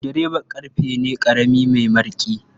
Sukuldireba ƙarfe ne ƙarami mai mariƙi.